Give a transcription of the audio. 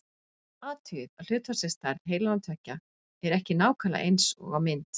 athugið að hlutfallsleg stærð heilanna tveggja er ekki nákvæmlega eins á mynd